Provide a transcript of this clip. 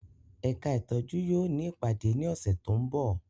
Ẹka itọju yóò ni ipade ni ọsẹ to nbọ